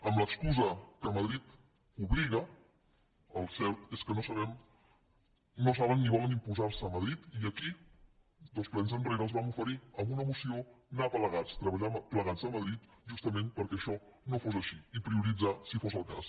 amb l’excusa que madrid hi obliga el que és cert és que no saben ni volen imposar se a madrid i aquí dos plens enrere els vam oferir amb una moció anar plegats treballar plegats a madrid justament perquè això no fos així i prioritzar si fos el cas